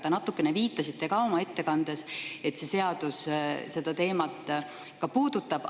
Te natukene viitasite ka oma ettekandes, et see seadus seda teemat puudutab.